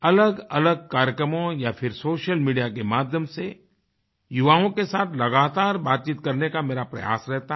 अलगअलग कार्यक्रमों या फिर सोशल मीडिया के माध्यम से युवाओं के साथ लगातार बातचीत करने का मेरा प्रयास रहता है